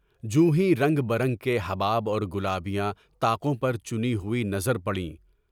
جو ہیں رنگ بہ رنگ کے حباب اور گلابیاں طاقوں پر چنی ہوئی نظر پڑیں۔